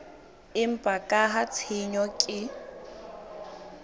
empa ka ha tshenyo ke